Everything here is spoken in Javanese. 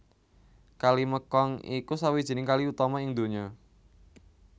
Kali Mekong iku sawijining kali utama ing donya